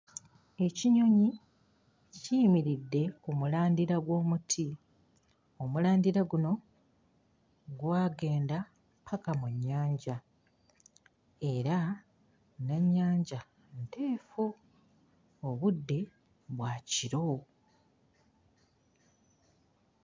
Ekinyonyi kiyimiridde ku mulandira gw'omuti omulandira guno gwagenda ppaka mu nnyanja era n'ennyanja nteefu obudde bwa kiro.